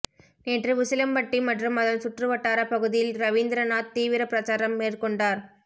நேற்று உசிலம்பட்டி மற்றும் அதன் சுற்றுவட்டார பகுதியில் ரவீந்திரநாத் தீவிர பிரச்சாரம் மேற்கொண்டார்